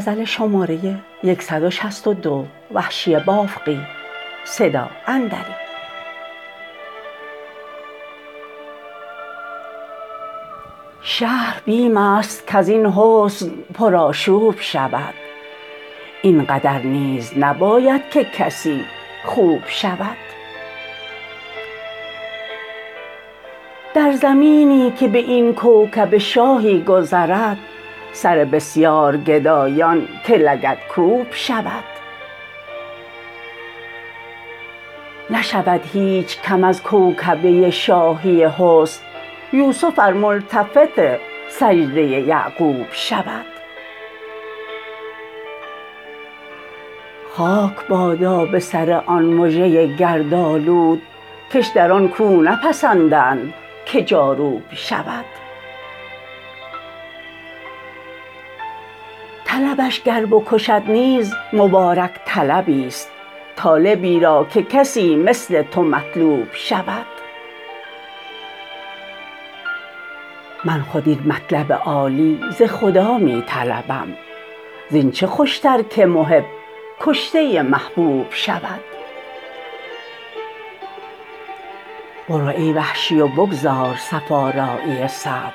شهر بیم است کزین حسن پرآشوب شود اینقدر نیز نباید که کسی خوب شود در زمینی که به این کوکبه شاهی گذرد سر بسیار گدایان که لگدکوب شود نشود هیچ کم از کوکبه شاهی حسن یوسف ار ملتفت سجده یعقوب شود خاک بادا به سر آن مژه گردآلود کش در آن کو نپسندند که جاروب شود طلبش گر بکشد نیز مبارک طلبی ست طالبی را که کسی مثل تو مطلوب شود من خود این مطلب عالی ز خدا می طلبم زین چه خوشتر که محب کشته محبوب شود برو ای وحشی و بگذار صف آرایی صبر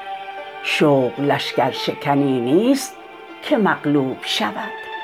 شوق لشکر شکنی نیست که مغلوب شود